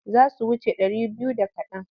Za su wuce ɗari biyu da kaɗan.